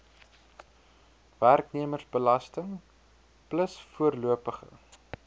werknemersbelasting plus voorlopige